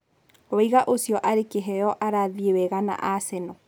Wing'a ũcio arĩ-kĩheyo arathiĩ wega na Aseno.